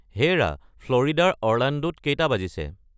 হেৰা ফ্ল'ৰিডাৰ অৰ্লাণ্ডোত কেইটা বাজিছে